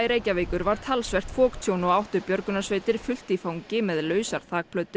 Reykjavíkur var talsvert foktjón og áttu björgunarsveitir fullt í fangi með lausar